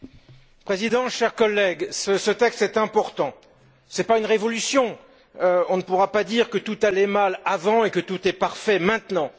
Monsieur le Président, chers collègues, ce texte est important. Ce n'est pas une révolution on ne pourra pas dire que tout allait mal avant et que tout est parfait maintenant.